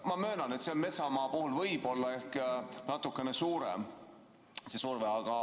Ma möönan, et metsamaa puhul võib see surve olla ehk natukene suurem.